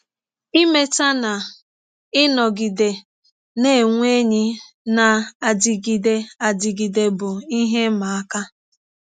Imeta na ịnọgide na - enwe enyi na - adịgide adịgide bụ ihe ịma aka.